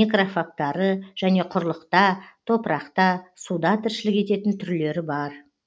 некрофагтары және құрлықта топырақта суда тіршілік ететін түрлері бар